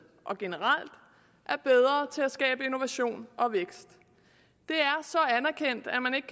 og generelt er bedre til at skabe innovation og vækst det er så anerkendt at man ikke